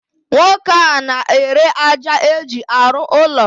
Nwoke a n'ere aja eji arụ ụlọ.